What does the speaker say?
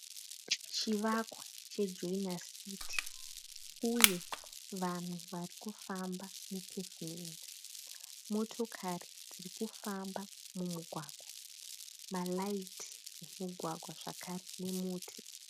Chivakwa cheJoina City uye vanhu vari kufamba mupevhumendi. Motokari dziri kufamba mumugwagwa. Maraiti emugwagwa zvakare nemuti.